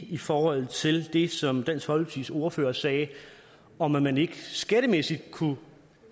i forhold til det som dansk folkepartis ordfører sagde om at man ikke skattemæssigt kunne